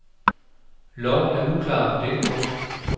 Loven er uklar på det punkt.